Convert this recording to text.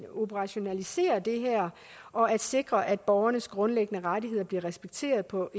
operationalisere det her og at sikre at borgernes grundlæggende rettigheder bliver respekteret på